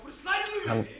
hann